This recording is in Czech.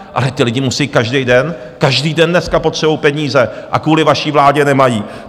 Ale ti lidi musí každý den, každý den dneska potřebují peníze a kvůli vaší vládě nemají.